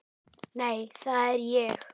Nei, það er ég ekki.